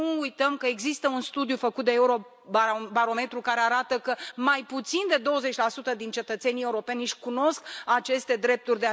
Să nu uităm că există un studiu făcut de Eurobarometru care arată că mai puțin de 20 din cetățenii europeni își cunosc aceste drepturi.